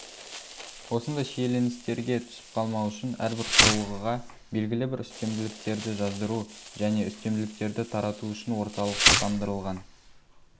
осындай шиеленістерге түсіп қалмау үшін әрбір құрылғыға белгілі бір үстемділіктерді жаздыру және үстемділіктерді тарату үшін орталықтандырылған